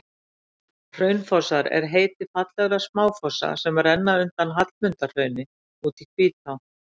hraunfossar er heiti fallegra smáfossa sem renna undan hallmundarhrauni út í hvítá